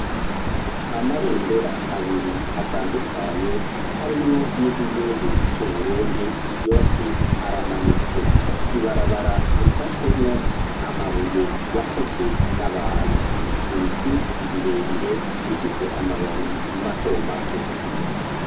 Amabendera abiri atandukanye harimwo n'iry'igihugu cU'Uburundi yose aramanitswe. Ibarabara risashwemwo amabuye yakozwe n'abantu. Ibiti birebire bifise amababi mato mato.